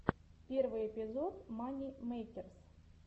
первый эпизод мани мэйкерс